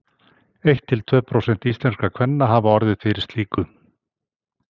Eitt til tvö prósent íslenskra kvenna hafa orðið fyrir slíku.